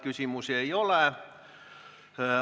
Küsimusi ei ole.